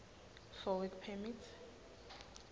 for work permit